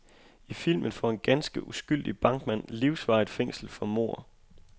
I filmen får en ganske uskyldig bankmand livsvarigt fængsel for mord.